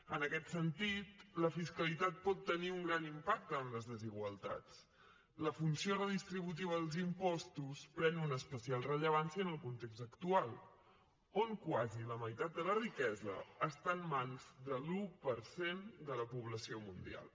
en aquest sentit la fiscalitat pot tenir un gran impacte en les desigualtats la funció redistributiva dels impostos pren una especial rellevància en el context actual on quasi la meitat de la riquesa està en mans de l’un per cent de la població mundial